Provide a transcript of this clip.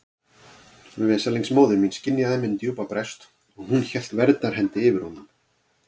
Veslings móðir mín skynjaði minn djúpa brest og hún hélt verndarhendi yfir honum.